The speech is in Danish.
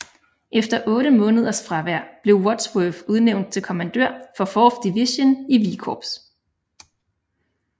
Efter 8 måneders fravær blev Wadsworth udnævnt til kommandør for 4th Division i V Corps